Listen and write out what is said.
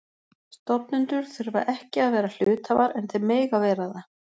Stofnendur þurfa ekki að vera hluthafar en þeir mega vera það.